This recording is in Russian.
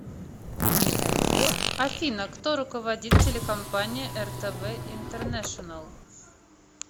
афина кто руководит телекомпания ртв интернешенел